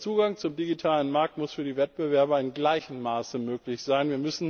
Der Zugang zum digitalen Markt muss für die Wettbewerber in gleichem Maße möglich sein.